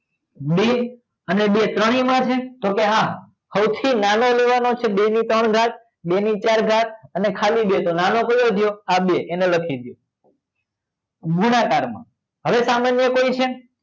બે અને બે ત્રણેયમાં છે તો કે હા સૌથી નાનો લેવાનો છે બે ની ત્રણ ઘાત બે ની ચાર ઘાત અને ખાલી ચાર તો નાનો કયો થયો આ બે એને લખી દો ગુણાકારમાં હવે સામાન્ય કોઈ છે